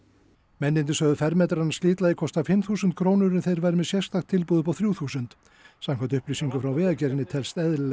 mennirnir sögðu fermetrann af slitlagi kosta fimm þúsund krónur en þeir væru með sérstakt tilboð upp á þrjú þúsund samkvæmt upplýsingum frá Vegagerðinni telst eðlilegt